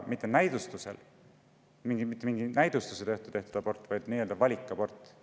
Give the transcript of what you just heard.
Mitte raseduse katkestamistest, milleks on mingi näidustus, vaid nii-öelda valikabortidest.